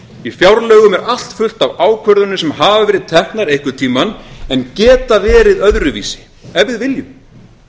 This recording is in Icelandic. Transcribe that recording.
í fjárlögum er allt fullt af ákvörðunum sem hafa verið teknar einhvern tíma en geta verið öðruvísi ef við viljum